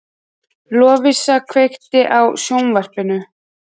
Lovísa, kveiktu á sjónvarpinu.